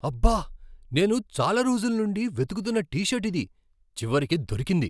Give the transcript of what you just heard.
అబ్బ! నేను చాలా రోజుల నుండి వెతుకుతున్న టీ షర్ట్ ఇది. చివరికి దొరికింది.